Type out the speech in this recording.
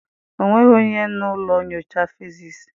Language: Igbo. Ọ nweghị onye na ụlọ nyocha fịziisii.